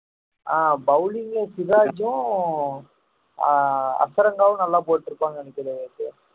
ஆஹ் bowling ல சிராஜும் ஆஹ் ஹசரங்காவும் நல்லா போட்டு இருப்பாங்கன்னு நினைக்கிறாரு